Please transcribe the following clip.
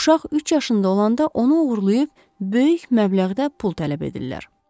Uşaq üç yaşında olanda onu oğurlayıb böyük məbləğdə pul tələb edirlər.